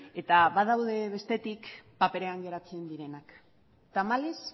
eta badaude bestetik paperean geratzen direnak tamalez